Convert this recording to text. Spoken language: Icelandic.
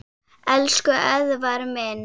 Elsku Eðvarð minn.